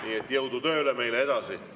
Nii et jõudu tööle meile edasi!